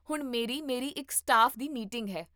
ਹੁਣ ਮੇਰੀ ਮੇਰੀ ਇਕ ਸਟਾਫ ਦੀ ਮੀਟਿੰਗ ਹੈ